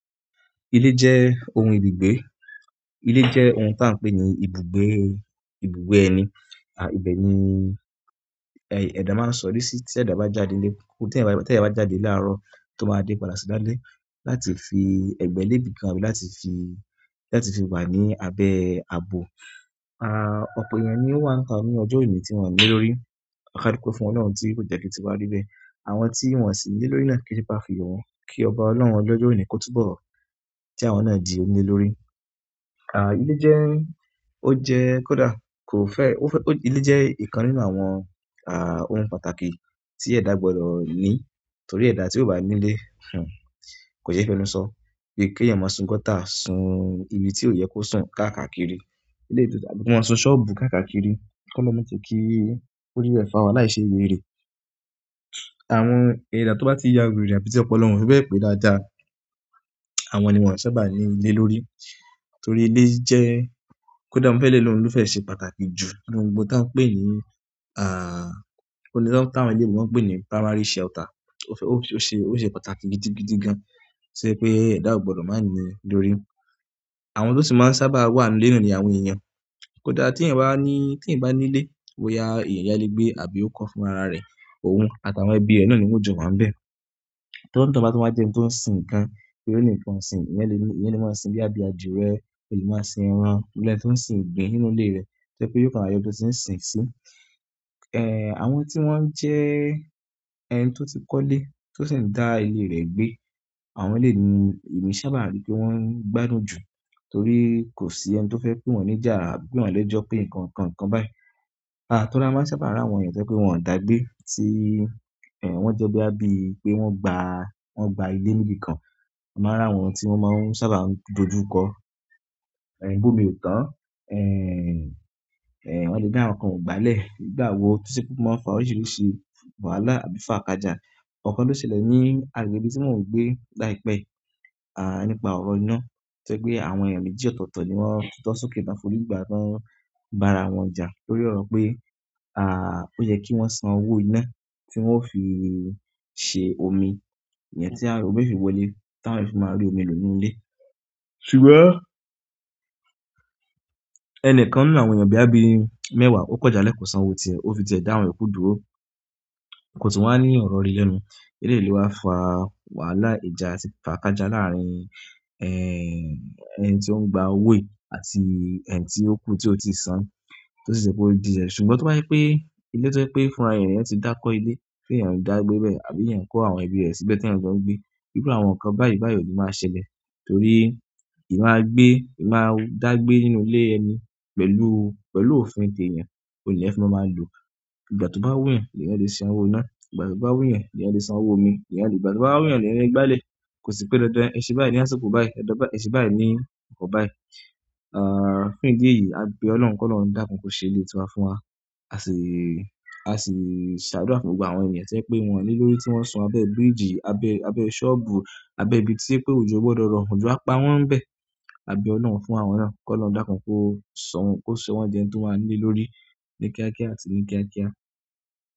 Ilé jẹ́ ohun ibi gbé. Ilé jẹ́ ohun tá ń pè ní ibùgbé, ibùgbé ẹni. À, ibẹ̀ ni, ẹ, ẹ̀dá máa sọ̀rí sí tí ẹ̀dá bá jáde nílé. Tí ẹ̀dá bá jáde láàárọ̀ tó báa dé padà sí dálé láti fi ẹ̀gbẹ́ lébi kan àbí láti fi, láti fi wà ní abẹ́ àbò. À, ọ̀pọ̀ èèyàn ni ó wà níta ní ọjọ́ oni tí wọ́n ní ile lórí. Kadupé fún Ọlọ́run tí kò jẹ́ ki tí wá rí bẹ́ẹ̀. Àwọn tí wọ́n sì ní lórí náà kí sẹ́ pe á fi yo wọ́n kí ọba Ọlọ́run olọ́jọ́ oní kó túbọ̀ kí àwọn náà di oníle lórí. À, ilé jẹ́, ó jẹ́ kó dà, kò fẹ́, ó fẹ́, ilé jẹ́ ìkan nínú àwọn, à, ohun pàtàkì tí ẹ̀dá gbọdọ̀ ní torí ẹ̀dá tí ó bá nílé, kò yẹ fẹ́nu sọ. Bí ki èèyàn má sùn gọ́tà, sùn ibi tí ò yẹ kó sùn káàkaakiri. Ilé tó, kí wọ́n sùn ṣọ́ọ̀bù káàkaakiri. Kí olọ́hun má je kí orí bẹ́ẹ̀ fa wà láì ṣe weré. Àwọn ẹ̀dá tó bá ti yawèrè àbí tí ọpọlọ won, ó fi bẹ́ẹ̀ pé dáa dáa. Àwọn ni wọ́n sábà ní ilé lórí torí ilé jẹ́ kó dà, mo fẹ́ lé loun ló fẹ́ ṣe pàtàkì jù nínú gbogbo ń tan pè ní, à, o le so, ti àwọn eleebo wọ́n pè ní primary shelter. Ó fẹ́, ó ṣe, ó ṣe pàtàkì gidigidi gan. Ṣé pé ẹ̀dá ò gbọdọ̀ má nílé lórí. Àwọn ló sì máa sábà wà nínú ilé ni àwọn èèyàn. Kó dà tí ẹ̀yàn bá ní, tí ẹ̀yàn bá nílé, boya, èèyàn yá lè gbé àbí ó kọ́ fún ara rẹ̀ òun àti àwọn ẹbí rẹ̀ náà ni wón jọ wáa ń bẹ̀. To ni toun bá tun wá jẹ eńi tó sìn nǹkan, boya ó ní nǹkan ọ̀sìn. Ẹ̀yàn lè ní, ẹ̀eyàn lè máa sìn boyá bí adírẹ̀, e lè máa sìn ẹran, boya ẹni tó ń sìn igbìn nínú ilé rẹ̀. Té pé yóò rora yọ ibi ti n sìn ìn sí. Ẹ, àwọn tí wọ́n jẹ́ ẹni tó ti kọ́lé, tó sì ń dá ilé rẹ̀ gbé, àwọn lè ní, èmi sábà rí pé wọ́n gbádùn jù torí kò sí ẹni tó fẹ́ pè wọ́n ní jà àbí pè wọ́n lẹ́jọ́ pé nǹkan, nǹkan, nǹkan báyìí. À, torí a máa sábà rí àwọn èèyàn tí o je pé wọ́n ò dá gbé tí, ẹ, wọ́n jẹ́ boya bí pé wọ́n gba, wọ́n gba ilé nì ibìkan. A máa rí àwọn tí wọ́n máa ń sábà dojú kọ. Ẹ̀, gbómi ò tán. Ẹ̀n, ẹ̀, wọ́n lè ni àwọn kan o gba lẹ́, nígbà wò tí ṣe pé wọ́n máa fà oríṣìíríṣìí wàhálà àbí ifàkaja. Ọ̀kan ló ṣẹlẹ̀ ní àgbègbè ibi tí mọ́o n gbé láìpẹ́, à, nípa ọ̀rọ̀ iná. To jepe pé àwọn èèyàn méjì ọ̀tọ̀ọ̀tọ̀ ni wọ́n tu so kẹ́ tán forí gbà tán bá ara wọn jà lórí ọ̀rọ̀ pé, à, ó yẹ kí wọ́n san owó iná tí wọ́n ó fi ṣe omi. Ìyẹn tí a, òmi o fì wọlé tí àwọn fì máa rí omi nínú ilé. Ṣùgbọ́n ẹnìkan nínú àwọn èèyàn boya bí mẹ́wàá okò jà lẹ́ kọ̀ọ́ san owó ti ẹ, ó fi jẹ ẹ dá wọn iyokú dúró. Kò tún wá ní ọ̀rọ̀ íre lẹ́nu. Eléyìí lo wá fa wàhálà ìjà atì fà kaja láàárín, ẹ́, ẹni tí ó ń gba owó yìí àti ẹni tí ó kú tí ó ti san. Tí ó sì ṣe pé ó di ẹ̀ṣẹ̀. Ṣùgbọ́n tó bá jẹ́ pé ilé tó pé fúnra ẹeyan ni eyan ti dá kọ́ ilé, tí ẹ̀yàn dá gbé bẹ́ẹ̀ àbí ẹ̀yàn kó àwọn ẹbí rẹ̀ síbẹ̀ tí ẹ̀yàn jo n gbé, iru àwọn nǹkan báyìí báyìí ò ní máa ṣẹlẹ̀ torí ìmáa gbé, ìmáa dá gbé nínú ilé ẹni pẹ̀lú, pẹ̀lú òfin ti eeyan òní lẹeyan fi máa máa lò. Ìgbà to ba wu n yan leeyan le san owo ina. Ìgbà tó bá wù yan, lè yan lè san owó omi. Ìgbà tó bá wù yan, lè yan lè gba lẹ́. Kò sí pé dandan, ẹ ṣe báyìí, ni a sikọ̀ báyìí. Ẹ dọ́ bá, ẹ ṣe báyìí ní nǹkan báyìí. Ah, fún idi èyí a be olohun ki olohun dakun ko se ile tiwa fún wa. A sì, a sì ṣàdúrà fún gbogbo àwọn ènìyàn tí oje pé wọn níile lórí tí wọ́ n sun abẹ́ bíríìjì, abẹ́, abẹ́ ṣọ́ọ̀bù, abẹ́ ibi tí ojẹ pé òjò ogbọdọ̀ rọ. Òjò á pa wọ́n bẹ̀. A bẹ Ọlọ́run fún àwọn náà kólorun lọ́ dákun kó sọ̀wọ́n, kó ṣe wọ́n di ẹni tí o maá níle lórí ní kíákíá àti ní kíákíá.